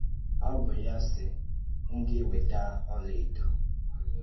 Ọ bụ ya sị, M gà-ewètá ọ́la èdò.